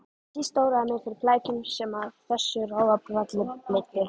Síst óraði mig fyrir flækjunum sem af þessu ráðabralli leiddi.